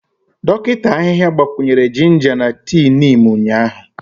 Dọkịta ahịhịa gbakwunyere jinja na tii Neem ụnyahụ.